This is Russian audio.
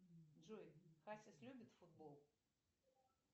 джой хасис любит футбол